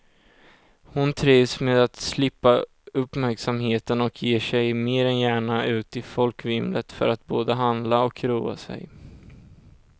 Hon trivs med att slippa uppmärksamheten och ger sig mer än gärna ut i folkvimlet för att både handla och roa sig.